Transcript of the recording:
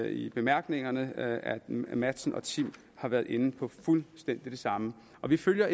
i bemærkningerne at matzen og timm har været inde på fuldstændig det samme og vi følger